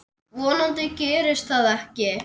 Vonandi gerist það ekki.